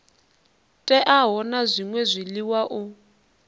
teaho na zwṅwe zwiḽiwa u